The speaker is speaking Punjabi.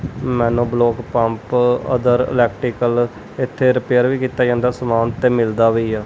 ਬਲੌਕ ਪੰਪ ਅਦਰ ਇਲੈਕਟਰੀਕਲ ਇੱਥੇ ਰਿਪੇਅਰ ਵੀ ਕੀਤਾ ਜਾਂਦਾ ਸਮਾਨ ਤੇ ਮਿਲਦਾ ਵੀ ਆ।